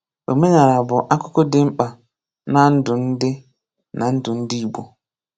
Omenala bụ akúkú dị mkpa na ndụ ndị na ndụ ndị igbo.